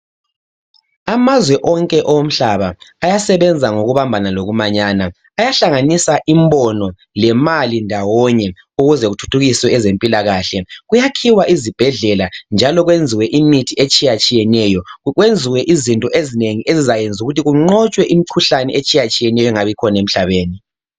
Amazwe onke yomhlaba ayasebenza ngokubabhana lokumanyana ayahlanganisa imbono lemali ndawone ukuze kuthuthukiswe ezempilakahle kuyakhiwe izibhedlela njalo kuyenziwe imithi etshiyatshiyeneyo kwezwe izinto ezinengi ezizayenza ukuthi kunqotshwe imikhuhlane etshiyeneyo ingabikhona emhlabeni.